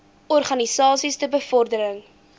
organisasies ter bevordering